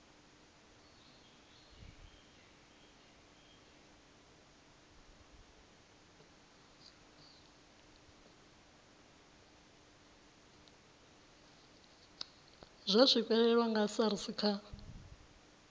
zwa swikelelwa nga srsa kha